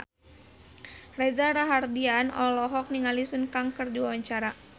Reza Rahardian olohok ningali Sun Kang keur diwawancara